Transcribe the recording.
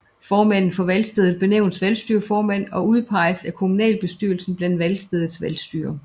Formanden for valgstedet benævnes valgstyrerformand og udpeges af kommunalbestyrelsen blandt valgstedets valgstyrere